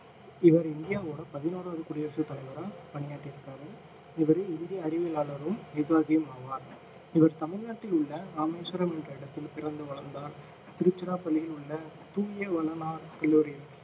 இவர் இந்தியாவோட பதினோராவது குடியரசு தலைவரா பணியாற்றி இருக்காரு இவரு இந்திய அறிவியலாளரும் நிர்வாகியும் ஆவார் இவர் தமிழ் நாட்டில் உள்ள இராமேஸ்வரம் என்ற இடத்தில் பிறந்து வளர்ந்தார் திருச்சிராப்பள்ளியில்ல உள்ள தூய வளனார் கல்லூரியில்